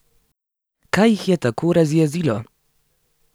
Kaj jih je tako razjezilo?